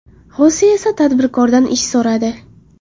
Xose esa tadbirkordan ish so‘radi.